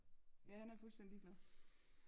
Ja han er fuldstændig ligeglad